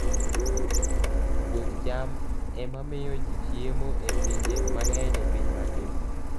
Puoth cham ema miyo ji chiemo e pinje mang'eny e piny mangima.